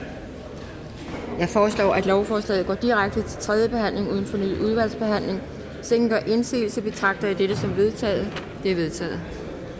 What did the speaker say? jeg foreslår at lovforslaget går direkte til tredje behandling uden fornyet udvalgsbehandling hvis ingen gør indsigelse betragter jeg dette som vedtaget vedtaget